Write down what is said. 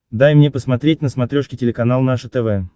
дай мне посмотреть на смотрешке телеканал наше тв